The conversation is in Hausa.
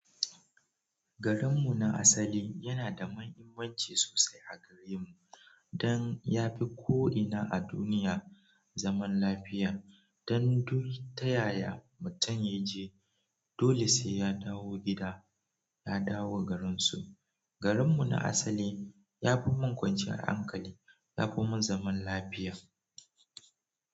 Garinmu na asali yana da mahimmanci sosai a gare mu dan ya fi ko ina a duniya zaman lafiya. Dan duk ta yaya mutum ya je, dole sai ya dawo gida, ya dawo garinsu. Garinmu na asali ya fi mun kwanciyar hankali, yafi mun zaman lafiya.